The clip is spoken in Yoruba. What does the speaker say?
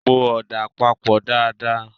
Po ọ̀dà papọ̀ dáa dáa!